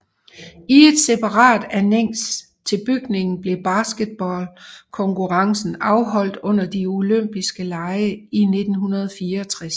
I et separat anneks til bygningen blev basketball konkurrencen afholdt under de olympise lege i 1964